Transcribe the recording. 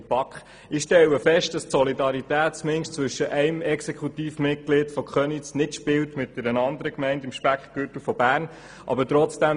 der BaK. Ich stelle fest, dass die Solidarität zumindest zwischen einem Exekutivmitglied der Gemeinde Köniz mit einer anderen Gemeinde im Speckgürtel von Bern nicht spielt.